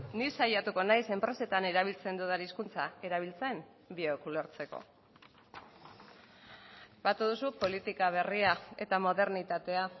ni saiatuko naiz enpresetan erabiltzen dudan hizkuntza erabiltzen biok ulertzeko batu duzu politika berria eta modernitatea